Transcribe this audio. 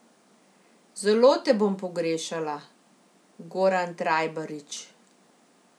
Zelo te bom pogrešala, Goran Trajbarič ...